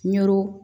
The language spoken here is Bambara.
Ɲɔro